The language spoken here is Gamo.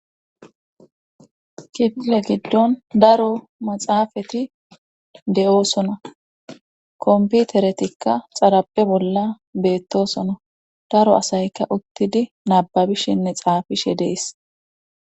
kifile giddon daro maxaafati de7oosona komputeretikka xarabe bolla beettosono daro asayka uttidi nababishinne xaafishe dees